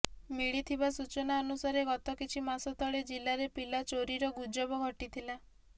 ମିଳିଥିବା ସୂଚନା ଅନୁସାରେ ଗତ କିଛି ମାସ ତଳେ ଜିଲ୍ଲାରେ ପିଲାଚୋରିର ଗୁଜବ ଘଟିଥିଲା